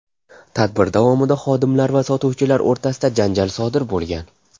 Tadbir davomida xodimlar va sotuvchilar o‘rtasida janjal sodir bo‘lgan.